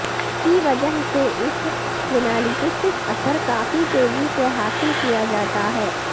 کی وجہ سے اس ینالجیسک اثر کافی تیزی سے حاصل کیا جاتا ہے